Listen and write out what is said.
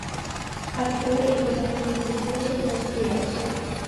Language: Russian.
открой эпизод тридцать восемь восприятие